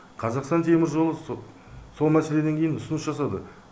қазақстан теміржолы сол мәселеден кейін ұсыныс жасады